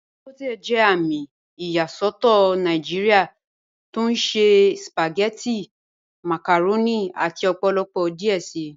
Dangote jẹ àmì ìyàsọ̀tọ̀ Nàìjíríà tó ṣẹ̀ spagẹ̀tí, màkàrọ̀nì àti ọ̀pọ̀lọpọ̀ díẹ̀ sí."